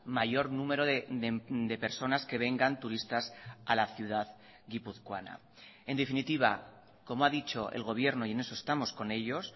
mayor número de personas que vengan turistas a la ciudad guipuzcoana en definitiva como ha dicho el gobierno y en eso estamos con ellos